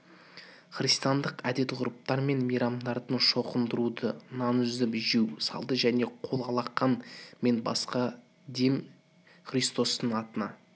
христиандық әдет-ғұрыптар мен мейрамдардан шоқындыруды нан үзіп жеу салты және қол-алақан мен басқа дем христостың атына